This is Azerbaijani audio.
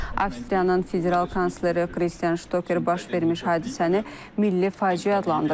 Avstriyanın federal kansleri Kristian Ştoker baş vermiş hadisəni milli faciə adlandırıb.